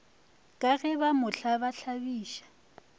ka ge ba mo tlabatlabiša